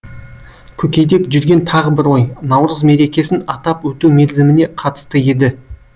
көкейде жүрген тағы бір ой наурыз мерекесін атап өту мерзіміне қатысты еді